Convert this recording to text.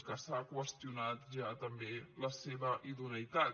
que s’ha qüestionat ja també la seva idoneïtat